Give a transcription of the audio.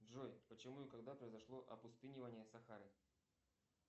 джой почему и когда произошло опустынивание сахары